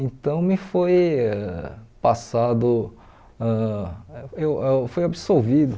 Então, me foi passado, ãh eu eu fui absolvido.